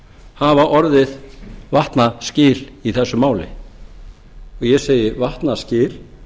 hafa orðið vatnaskil í þessu máli ég segi vatnaskil